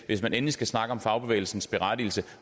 hvis man endelig skal snakke om fagbevægelsens berettigelse